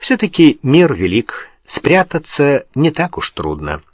всё-таки мир велик спрятаться не так уж трудно